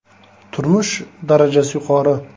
Turmush darajasi yuqori.